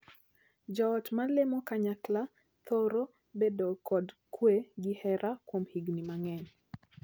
Joot ma lemo kanyakla thoro bedo kod kwe gi hera kuom higni mang'eny.